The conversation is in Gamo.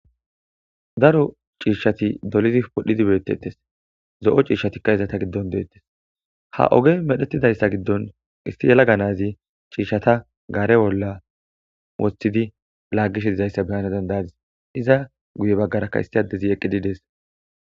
Daro ciishshati dolizi podhidi beettettes zo7o ciishshatikka izata giddon deettes ha oge medhetidayssa giddon isti yala ganazi ciishshata gaare bolla wothidi laaggishe dizayssa beyana dandayadis iza guye baggarakka isti addezi eqqidi dees.